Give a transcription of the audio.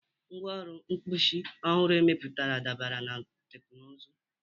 Ngwaahịa mkpuchi ọhụrụ emepụtara dabere na teknụzụ..